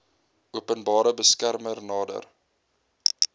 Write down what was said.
openbare beskermer nader